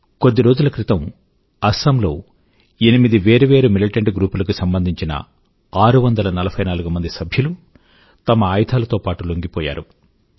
కొద్ది రోజుల క్రితం అసమ్ లో ఎనిమిది వేరు వేరు మిలిటెంట్ గ్రూప్ లకు సంబంధించిన 644 సభ్యులు తమ ఆయుధాల తో పాటూ లొంగిపోయారు